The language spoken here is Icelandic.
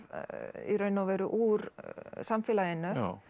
í raun og veru úr samfélaginu